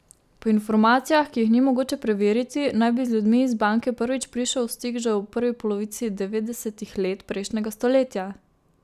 Po informacijah, ki jih ni mogoče preveriti, naj bi z ljudmi iz banke prvič prišel v stik že v prvi polovici devetdesetih let prejšnjega stoletja.